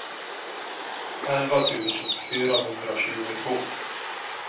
elva tusen fyrahundratjugotvå